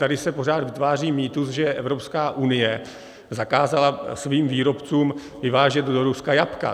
Tady se pořád vytváří mýtus, že Evropská unie zakázala svým výrobcům vyvážet do Ruska jablka.